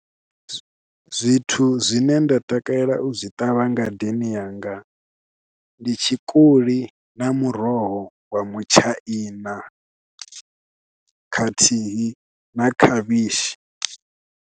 Zwithu zwine nda takalela u zwi ṱavha ngadeni yanga ndi tshikoli na muroho wa mutshaina khathihi na khavhishi.